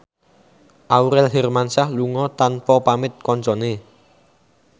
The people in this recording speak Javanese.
Aurel Hermansyah lunga tanpa pamit kancane